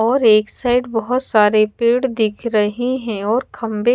और एक साइड बहुत सारे पेड़ दिख रहे है और खंबे--